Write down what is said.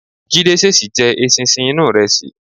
Jídé ṣèṣì jẹ eṣinṣin inú ìrẹsì.